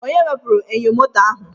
Onye wepụrụ enyo moto ahụ?